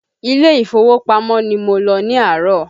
Ilé ìfowópamọ́ ni mo lọ ní àárọ̀